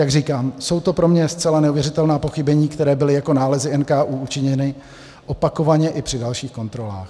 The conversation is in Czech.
Jak říkám, jsou to pro mě zcela neuvěřitelná pochybení, která byla jako nálezy NKÚ učiněna opakovaně i při dalších kontrolách.